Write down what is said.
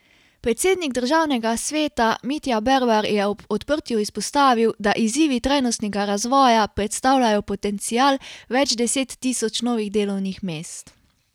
Predsednik državnega sveta Mitja Bervar je ob odprtju izpostavil, da izzivi trajnostnega razvoja predstavljajo potencial več deset tisoč novih delovnih mest.